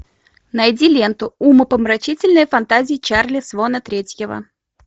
найди ленту умопомрачительные фантазии чарли свона третьего